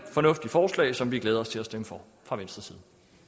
fornuftigt forslag som vi glæder os til at stemme for fra venstres